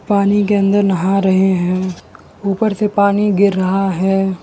पानी के अंदर नहा रहे हैं ऊपर से पानी गिर रहा है।